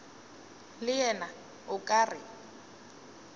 le yena o ka re